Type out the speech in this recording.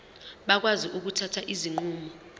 bakwazi ukuthatha izinqumo